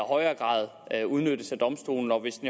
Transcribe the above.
høj grad udnyttes af domstolene og hvis